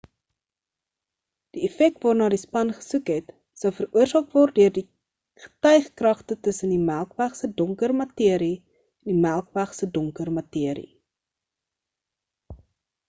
die effek waarna die span gesoek het sou veroorsaak word deur getykragte tussen die melkweg se donker materie en die melkweg se donker materie